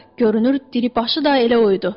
Görünür diri başı da elə oydu.